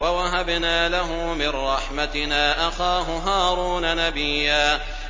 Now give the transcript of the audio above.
وَوَهَبْنَا لَهُ مِن رَّحْمَتِنَا أَخَاهُ هَارُونَ نَبِيًّا